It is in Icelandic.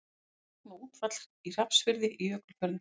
Logn og útfall í Hrafnsfirði í Jökulfjörðum.